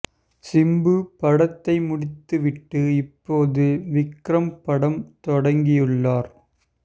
சிம்பு படத்தை முடித்து விட்டு இப்போது விக்ரம் படம் தொடங்கியுள்ளார்